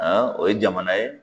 o ye jamana ye